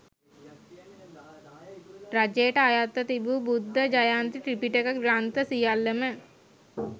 රජයට අයත්ව තිබූ බුද්ධ ජයන්ති ත්‍රිපිටක ග්‍රන්ථ සියල්ලම,